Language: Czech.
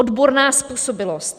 Odborná způsobilost.